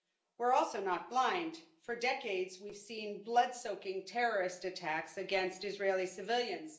We're also not blind for decades we've seen blood soaking terrorist attacks against Israeli civilians.